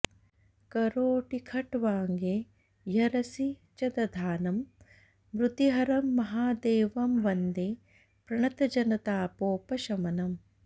करोटीखट्वाङ्गे ह्यरसि च दधानं मृतिहरं महादेवं वन्दे प्रणतजनतापोपशमनम्